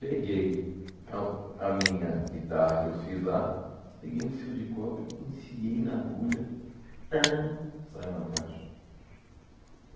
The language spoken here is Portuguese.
Peguei a a minha guitarra que eu fiz lá, peguei um fio de cobre, enfiei na agulha ãn... Saiu na caixa.